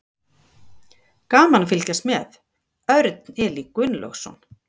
Gaman að fylgjast með: Örn Elí Gunnlaugsson.